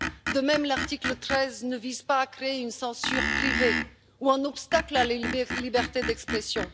De même, l'article 13 ne vise pas à créer une censure privée ou un obstacle à la liberté d'expression.